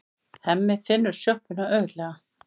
Hemmi finnur sjoppuna auðveldlega.